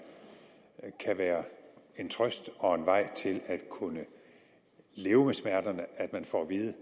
kan være en trøst og en vej til at kunne leve med smerterne at man får at vide